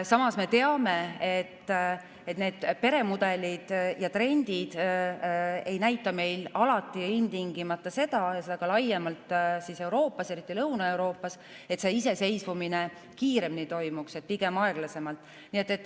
Samas me teame, et need peremudelid ja ‑trendid ei näita meil alati ja ilmtingimata seda ja nii ka laiemalt Euroopas, eriti Lõuna-Euroopas, et see iseseisvumine toimuks kiiremini, vaid pigem aeglasemalt.